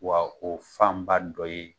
Wa o fanba dɔ ye